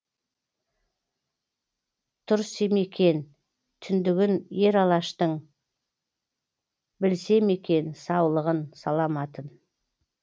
түрсемекен түндігін ер алаштың білсемекен саулығын саламатын